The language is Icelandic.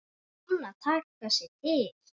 Kann að taka sig til.